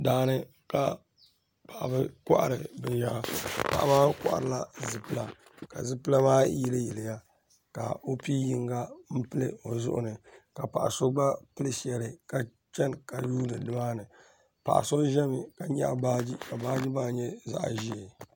Daani ka paɣaba kohiri ben yara. Paɣa maa kohirila zipila ka zipila maa yili yiliya ka o pii yinga n pili o zuɣu ni ka paɣa so gba pili sheli ka chani ka yuundi nimaani. Paɣa so ʒɛmi ka nyaɣ baaji ka baaji maa nya zaɣ ʒee.